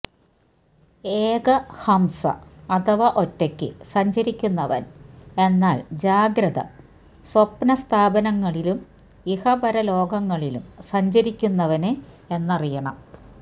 എക ഹംസഃ അഥവാ ഒറ്റയ്ക്ക് സഞ്ചരിക്കുന്നവന് എന്നാല് ജാഗ്രത് സ്വപ്നസ്ഥാനങ്ങളിലും ഇഹപര ലോകങ്ങളിലും സഞ്ചരിക്കുന്നവന് എന്നറിയണം